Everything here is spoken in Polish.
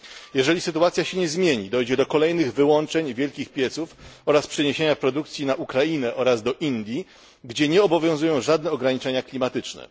Jeżeli sytuacja się nie zmieni, dojdzie do kolejnych wyłączeń wielkich pieców oraz przeniesienia produkcji na Ukrainę oraz do Indii, gdzie nie obowiązują żadne ograniczenia klimatyczne.